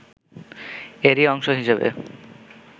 এরই অংশ হিসেবে